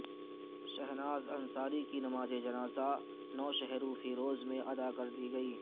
شہناز انصاری کی نمازجنازہ نوشہرو فیروز میں ادا کردی گئی